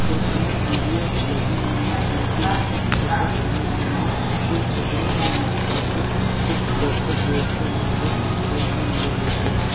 और दूर सीढ़ियां लगी हुई है जिनके ऊपर चद्दर तने हुए हैं उन चद्दरो के नीचे आकर कुछ दर्शक बैठते हैं जो कि खेल का मजा लेते हैं।